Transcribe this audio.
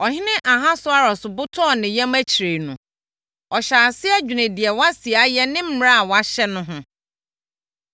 Ɔhene Ahasweros bo tɔɔ ne yam akyire no, ɔhyɛɛ aseɛ dwenee deɛ Wasti ayɛ ne mmara a wɔahyɛ no ho.